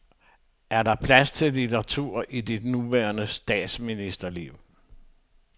Er der plads til litteratur i dit nuværende statsministerliv?